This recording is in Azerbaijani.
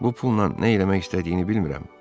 Bu pulla nə eləmək istədiyini bilmirəm.